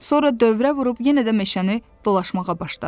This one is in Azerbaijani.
Sonra dövrə vurub yenə də meşəni dolaşmağa başladı.